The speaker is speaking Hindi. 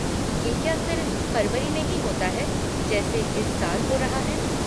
ये क्या सिर्फ़ फरवरी में ही होता है जैसे इस साल हो रहा है?